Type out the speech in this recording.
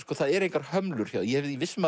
það eru engar hömlur ég er viss um